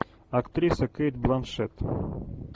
актриса кейт бланшетт